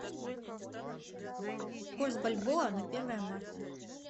курс бальбоа на первое марта